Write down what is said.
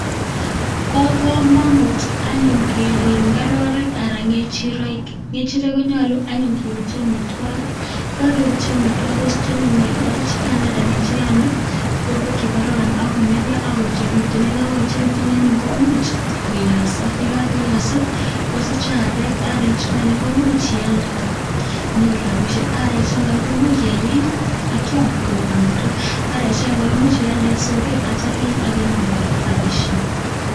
Bo komonut anyun keriib ngororeek alan ngechireek, ngechireek konyoluu anyun keibchi omwitwokik yekokebutyi omwitwokik koyoche kosiche anyun ngororechukaan alan nechukaan borwek chekoroon akonerio akoechekituun, yekokoechekityun anyun komuch koiyosoo yekokoiyosoo kosich areek ak arechukaan komuch ialdee inyoruu rapishiek arechuton korak komuch keyeny akiam koik omwitwokik arechutoon korak imuch ialdee en soket keyech akinyoruu korak rapishiek